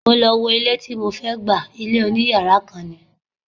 Mo lọ wo ilé tí mo fẹ́ gbà, ilé oní yàrá kan ni.